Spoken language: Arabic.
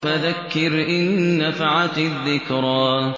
فَذَكِّرْ إِن نَّفَعَتِ الذِّكْرَىٰ